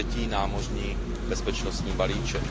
třetí námořní bezpečnostní balíček.